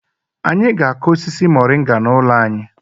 Anyị ga-akụ osisi Moringa n'ụlọ anyị.